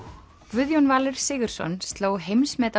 Guðjón Valur Sigurðsson sló heimsmet á